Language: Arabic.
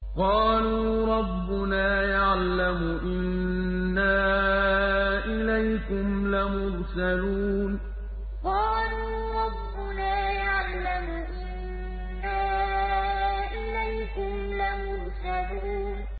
قَالُوا رَبُّنَا يَعْلَمُ إِنَّا إِلَيْكُمْ لَمُرْسَلُونَ قَالُوا رَبُّنَا يَعْلَمُ إِنَّا إِلَيْكُمْ لَمُرْسَلُونَ